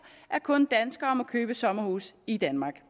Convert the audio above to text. at kun danskere må købe sommerhus i danmark